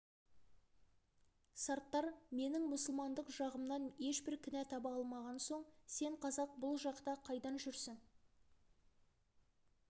сарттар менің мұсылмандық жағымнан ешбір кінә таба алмаған соң сен қазақ бұл жақта қайдан жүрсің